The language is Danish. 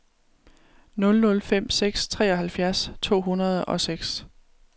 nul nul fem seks treoghalvfjerds to hundrede og seks